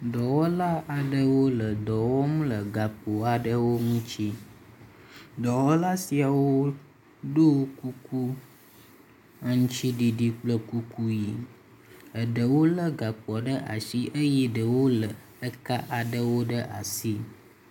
dɔwɔla aɖewo le dɔwɔm le gakpo aɖe ŋutsi dɔwɔla siawo ɖó kuku aŋtsiɖiɖi kple kuku yi eɖewo le gakpoa ɖewo ɖe asi eye ɖewo le eka aɖewo ɖe asi